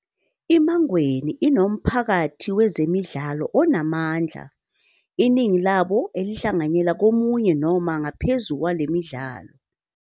I-Mangweni inomphakathi wezemidlalo onamandla, iningi labo elihlanganyela komunye noma ngaphezulu wale midlalo.